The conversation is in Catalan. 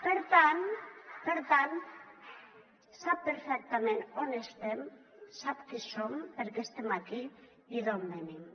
per tant sap perfectament on estem sap qui som per què estem aquí i d’on venim